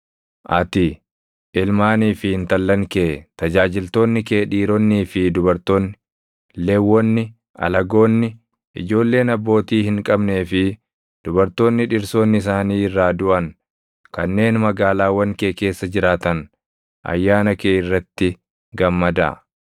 Ati, ilmaanii fi intallan kee, tajaajiltoonni kee dhiironnii fi dubartoonni, Lewwonni, alagoonni, ijoolleen abbootii hin qabnee fi dubartoonni dhirsoonni isaanii irraa duʼan kanneen magaalaawwan kee keessa jiraatan ayyaana kee irratti gammadaa.